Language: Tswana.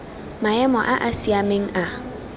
maemo a a siameng a